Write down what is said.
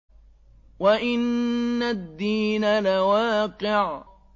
وَإِنَّ الدِّينَ لَوَاقِعٌ